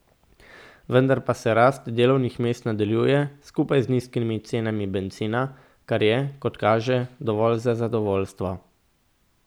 Vendar pa se rast delovnih mest nadaljuje, skupaj z nizkimi cenami bencina, kar je, kot kaže, dovolj za zadovoljstvo.